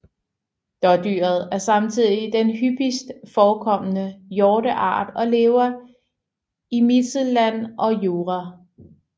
Dådyret er samtidig den hyppigst forekommende hjorteart og lever i Mittelland og Jura